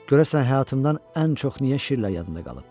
Görəsən həyatımdan ən çox niyə şirlə yadıma qalıb?